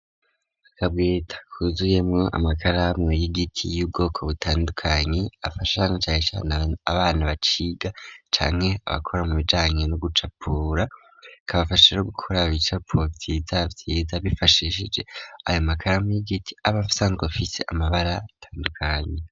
Akabweta kuzuyemwo amakaramu y'igiti y'ubwoko butandukanye afasha canecane abana baciga canke abakora mu bijanye no gucapura, kabafashije gukora ibicapo vyizavyiza bifashishije ayo makaramu y'igiti aba asanzwe afise amabara atandukanye.